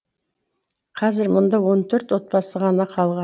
қазір мұнда он төрт отбасы ғана қалған